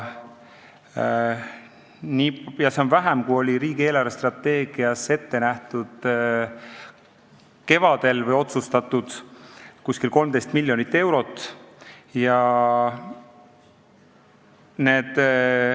Sellest, mis oli kevadel riigi eelarvestrateegias ette nähtud või otsustatud, on seda umbes 13 miljonit eurot vähem.